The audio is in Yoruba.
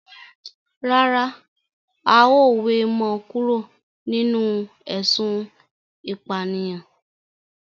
Rárá, a ó we mo kúrò nínú ésun ìpànìyàn